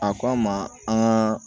A k'an ma an ka